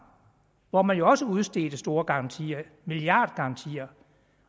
hvor man jo også udstedte store garantier milliardgarantier